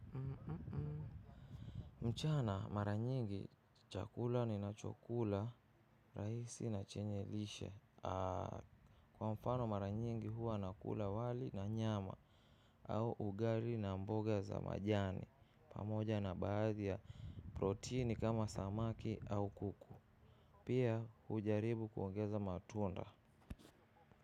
Mchana mara nyingi chakula ninachokula rahisi na chenye lishe. Kwa mfano mara nyingi huwa nakula wali na nyama au ugali na mboga za majani. Pamoja na baadhi ya protini kama samaki au kuku. Pia hujaribu kuongeza matunda.